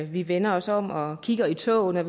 vi vender os om og kigger i toget når